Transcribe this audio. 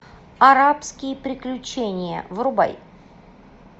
арабские приключения врубай